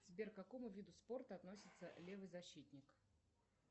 сбер к какому виду спорта относится левый защитник